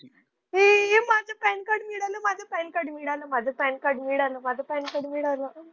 माझं PAN card मिळालं. माझं पॅन कार्ड मिळालं. माझं पॅन कार्ड मिळालं. माझं पॅन कार्ड मिळालं.